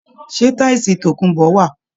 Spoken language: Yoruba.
Ṣé tísìì tòkunbó wà?